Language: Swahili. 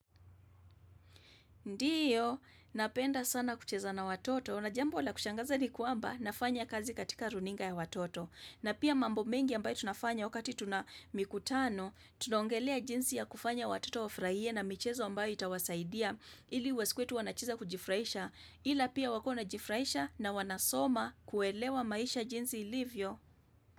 Ndiyo, napenda sana kucheza na watoto na jambo la kushangaza ni kwamba nafanya kazi katika runinga ya watoto na pia mambo mengi ambayo tunafanya wakati tuna mikutano tunongelea jinsi ya kufanya watoto wafurahie na michezo ambayo itawasaidia ili wasikuwe tu wanacheza kujifurahisha ila pia wakuwe wanajifurahisha na wanasoma kuelewa maisha jinsi ilivyo.